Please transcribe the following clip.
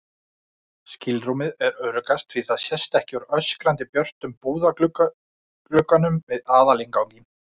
skilrúmið er öruggast því það sést ekki úr öskrandi björtum búðarglugganum við aðalinnganginn.